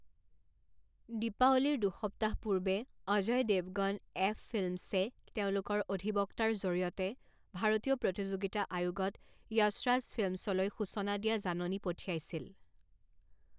দীপাৱলীৰ দুসপ্তাহ পূৰ্বে অজয় দেৱগন এফফিল্মছে তেওঁলোকৰ অধিবক্তাৰ জৰিয়তে ভাৰতীয় প্ৰতিযোগিতা আয়োগত য়শ ৰাজ ফিল্মছলৈ সূচনা দিয়া জাননী পঠিয়াইছিল।